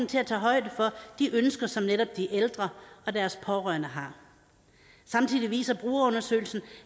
til at tage højde for de ønsker som netop de ældre og deres pårørende har samtidig viser brugerundersøgelsen